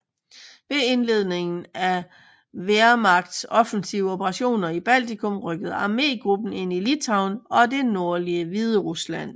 Ved indledningen af Wehrmachts offensive operationer i Baltikum rykkede armégruppen ind i Litauen og det nordlige Hviderusland